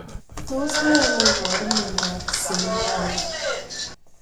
Tos nee neiparu miondop Seminoma